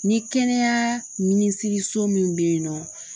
Ni kɛnɛya minisiriso min bɛ yen nɔ